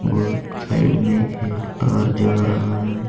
और उस साइड में एक तार जा रहा है।